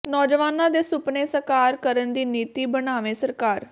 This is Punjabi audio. ਨੌਜਵਾਨਾਂ ਦੇ ਸੁਪਨੇ ਸਾਕਾਰ ਕਰਨ ਦੀ ਨੀਤੀ ਬਣਾਵੇ ਸਰਕਾਰ